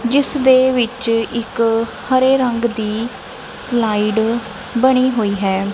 ਜਿਸ ਦੇ ਵਿੱਚ ਇੱਕ ਹਰੇ ਰੰਗ ਦੀ ਸਲਾਈਡ ਬਣੀ ਹੋਈ ਹੈ।